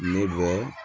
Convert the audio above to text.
Ne bɛ